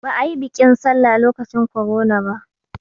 Ba a yi biƙin sallah lokacin korona ba